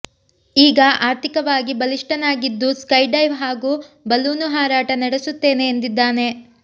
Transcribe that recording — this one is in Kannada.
ಈಗ ಆರ್ಥಿಕವಾಗಿ ಬಲಿಷ್ಠನಾಗಿದ್ದು ಸ್ಕೈ ಡೈವ್ ಹಾಗೂ ಬಲೂನು ಹಾರಾಟ ನಡೆಸುತ್ತೇನೆ ಎಂದಿದ್ದಾನೆ